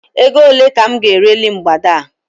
Ego ole ka m ga-ereli mgbada a?